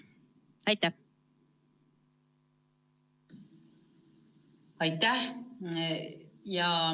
Aitäh!